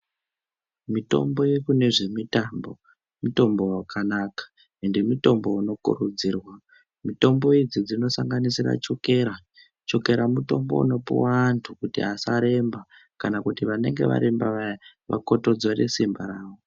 Mitombo yekune zve mitambo mutombo wakanaka ende mutombo uno kurudzirwa mitombo idzi uno sanganisira chokera chokera mutombo unopuwa antu kuti asaremba kana kuti vanenge varemba vaya vakotodzore simba ravo.